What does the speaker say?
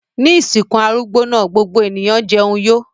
Ní ìsìnkú arúgbó náà gbogbo ènìyàn jẹun yó.